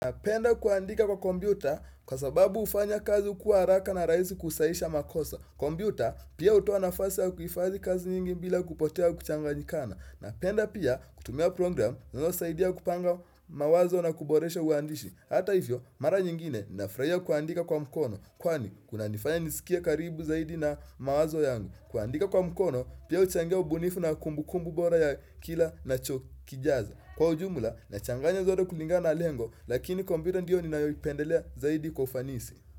Na penda kuandika kwa kompyuta kwa sababu hufanya kazi kuwa haraka na rahisi kusahisha makosa. Kompyuta pia hutoa nafasi au kuhifadhi kazi nyingi bila kupotea au kuchanganyikana. Napenda pia kutumia program zinazo saidia kupanga mawazo na kuboresho uandishi. Hata hivyo, mara nyingine nafurahia kuandika kwa mkono. Kwani, kunanifanya nisikie karibu zaidi na mawazo yangu. Kuandika kwa mkono, pia huchangia ubunifu na kumbukumbu bora ya kila nacho kijaza. Kwa ujumula, na changanya zote kulingana na lengo, lakini kompyuta ndiyo ninayoipendelea zaidi kwa ufanisi.